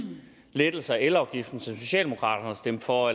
lettelser af elafgiften som socialdemokraterne har stemt for